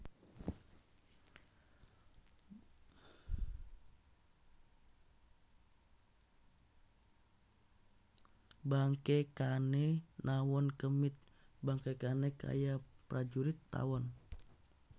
Bangkèkané nawon kemit bangkèkané kaya prajurit tawon